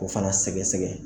Ko fana sɛgɛsɛgɛ.